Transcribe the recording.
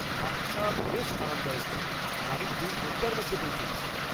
বাসটা বেশ আরামদায়ক ছিল আর আমি দু ঘন্টার মধ্যে পৌঁছে গেছি।